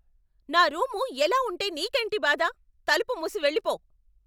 నా రూము ఎలా ఉంటే నీకేంటి బాధ? తలుపు మూసి వెళ్ళిపో.